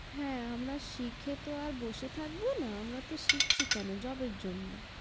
হা আমরা শিখে তো আর বসে থাকবো না শিখছি কেন job এর জন্য